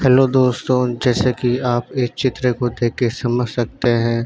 hello दोस्तों जैसे की आप ये चित्र को देखके समाज सकते हैं --